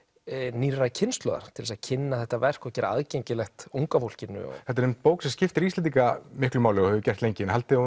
nýrrar kynslóðar til þess að kynna þetta verk og gera það aðgengilegt unga fólkinu þetta er bók sem skiptir Íslendinga miklu máli og hefur gert lengi haldið